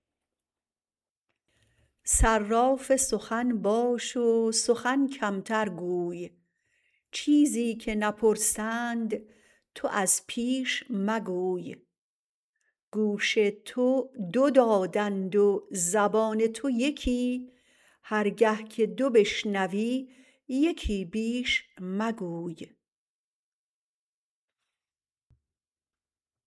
صراف سخن باش و سخن کمتر گوی چیزی که نپرسند تو از پیش مگوی گوش تو دو دادند و زبان تو یکی هرگه که دو بشنوی یکی بیش مگوی